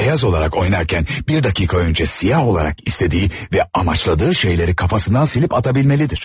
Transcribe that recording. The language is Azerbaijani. Beyaz olarak oynarkən bir dakika önce siyah olarak istədiği və amaçladığı şeyləri kafasından silip atabilməlidir.